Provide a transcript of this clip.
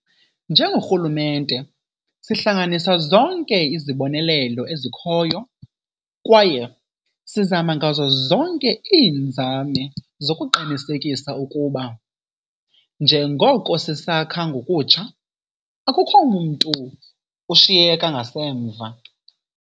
Njengorhulumente, sihlanganisa zonke izibonelelo ezikhoyo kwaye sizama ngazo zonke iinzame zokuqinisekisa ukuba, njengoko sisakha ngokutsha, akukho mntu ushiyeka ngasemva.